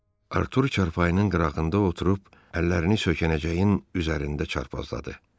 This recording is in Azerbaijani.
Artur çarpayının qırağında oturub əllərini söykənəcəyin üzərində çarpazladı.